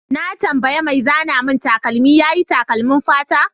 Na tambaye mai zana min takalmi yayi takalmin fata.